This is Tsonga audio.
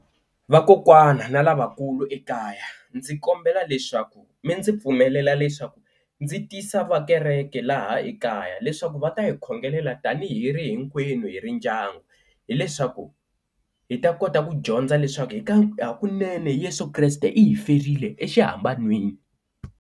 Vakokwana na lavakulu ekaya ndzi kombela leswaku mi ndzi pfumelela leswaku ndzi tisa va kereke laha ekaya leswaku va ta hi khongelela tani hi ri hinkwenu hi ri ndyangu hileswaku hi ta kota ku dyondza leswaku hi ka hakunene Yeso Kreste i hi ferile exihamban'weni.